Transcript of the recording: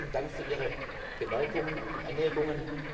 geht. Vielen Dank für Ihre Bemerkungen und Anregungen.